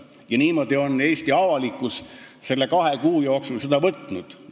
Ja niimoodi ongi Eesti avalikkus seda kahe kuu jooksul võtnud.